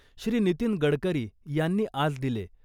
श्री. नितीन गडकरी यांनी आज दिले.